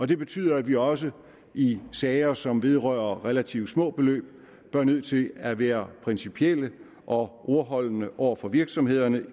det betyder at vi også i sager som vedrører relativt små beløb bliver nødt til at være principielle og ordholdende over for virksomhederne